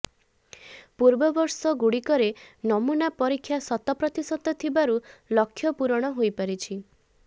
ପୂର୍ବବର୍ଷ ଗୁଡିକରେ ନମୁନା ପରୀକ୍ଷା ଶତପ୍ରତିଶତ ଥିବାରୁ ଲକ୍ଷ୍ୟ ପୂରଣ ହୋଇ ପାରିଛି